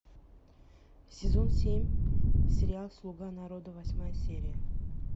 сезон семь сериал слуга народа восьмая серия